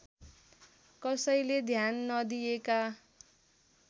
कसैले ध्यान नदिएका